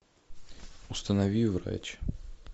установи врач